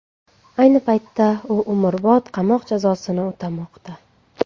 Ayni paytda u umrbod qamoq jazosini o‘tamoqda.